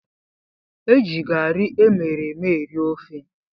Eji garri emereme eri ofe